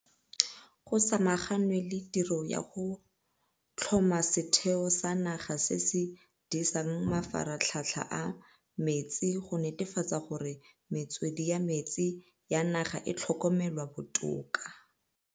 Go samaganwe le tiro ya go tlhoma Setheo sa Naga se se Disang Mafaratlhatlha a Metsi go netefatsa gore metswedi ya metsi ya naga e tlhokomelwa botoka.